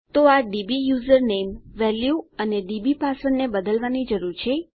તો આ DB username value અને ડીબીપાસવર્ડ ને બદલવાની જરૂર છે